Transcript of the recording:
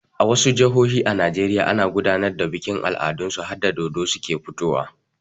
A wasu jihohin Najeriya ana gudanar da bikin al'adun su harda dodo suke fitowa.